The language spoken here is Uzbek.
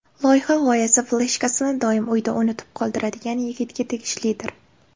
Loyiha g‘oyasi fleshkasini doim uyda unutib qoldiradigan yigitga tegishlidir.